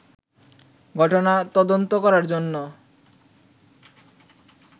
ঘটনা তদন্ত করার জন্য